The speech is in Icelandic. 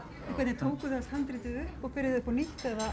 tókuð þið allt handritið upp og byrjuðuð upp á nýtt eða